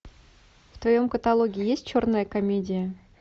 в твоем каталоге есть черная комедия